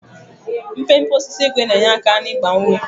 Mpempe osisi ígwè na-enye aka n'ịgba uwe.